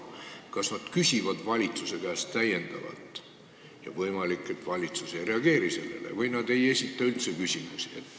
Kas nad küsivad valitsuse käest – ja võimalik, et valitsus ei reageeri sellele – või nad ei esita üldse küsimusi?